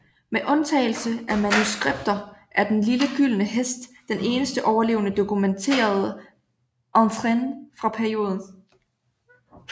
Med undtagelse af manuskripter er Den lille gyldne Hest den eneste overlevende dokumenterede étrennes fra perioden